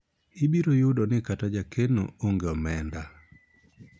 ibiro yudo ni kata jakeno onge omenda